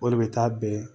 O de bɛ taa bɛn